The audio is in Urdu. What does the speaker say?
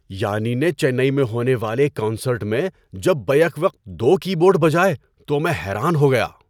یانی نے چنئی میں ہونے والے ایک کنسرٹ میں جب بیک وقت دو کی بورڈ بجائے تو میں حیران ہو گیا۔